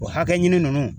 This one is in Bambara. O hakɛ ɲini nunnu